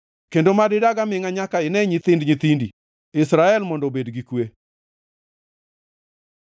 kendo mad idag amingʼa nyaka ine nyithind nyithindi, Israel mondo obed gi kwe!